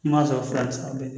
I m'a sɔrɔ fila bi saba bɛɛ